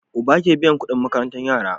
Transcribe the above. Uba ke biyan Ƙudin makarantar yara